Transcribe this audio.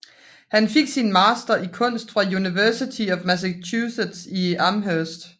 Han fik sin master i kunst fra University of Massachusetts at Amherst